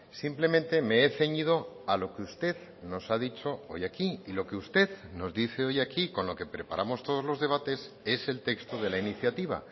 simplemente me he ceñido a lo que usted nos ha dicho hoy aquí y lo que usted nos dice hoy aquí con lo que preparamos todos los debates es el texto de la iniciativa